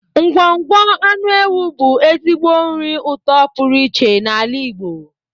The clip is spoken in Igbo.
Ngwọngwọ anụ ewu bụ ezigbo nri ụtọ pụrụ iche n'ala Igbo.